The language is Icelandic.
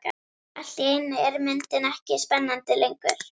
Allt í einu er myndin ekki spennandi lengur.